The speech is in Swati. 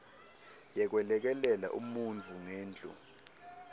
yekwelekelela umuntfu ngendlu